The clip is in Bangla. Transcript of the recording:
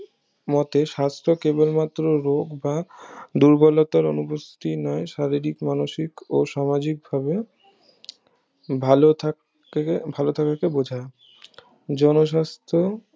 মতে সাস্থ কেবল মাত্র রোগ বা দুর্বলতার অনুপস্থিতি নেয় শারীরিক মানুষিক ও সামাজিক ভাবে ভালো থাকাকে বোঝায় জন সাস্থ